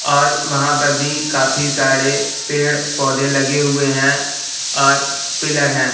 और वहां पर भी काफी सारे पेड़ पौधे लगे हुए हैं और पिलर है।